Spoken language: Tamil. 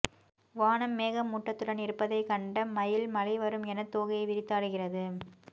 வானம் மேகமூட்டத்துடன் இருப்பதை கண்ட மயில் மழை வரும் என தோகையை விரித்தாடுகிறது